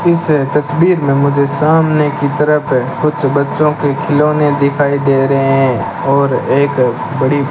इस तस्वीर में मुझे सामने की तरफ कुछ बच्चों के खिलौने दिखाई दे रहे हैं और एक बड़ी --